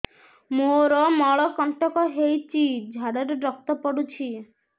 ମୋରୋ ମଳକଣ୍ଟକ ହେଇଚି ଝାଡ଼ାରେ ରକ୍ତ ପଡୁଛି